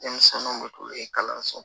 Denmisɛnninw bɛ kulu ye kalanso